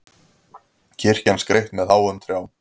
Kirkjan skreytt með háum trjám